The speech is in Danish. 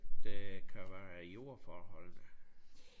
Det kan være jord for at holde det